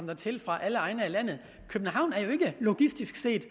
dertil fra alle egne af landet københavn er jo ikke logistisk set